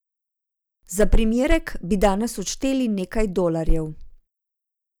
Za primerek bi danes odšteli nekaj dolarjev.